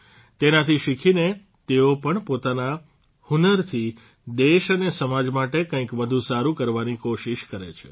તેનાથી શીખીને તેઓ પણ પોતાના હુન્નરથી દેશ અને સમાજ માટે કંઇક વધુ સારૂં કરવાની કોશિષ કરે છે